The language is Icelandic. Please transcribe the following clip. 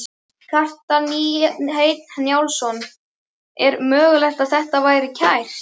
Kjartan Hreinn Njálsson: Er mögulegt að þetta verði kært?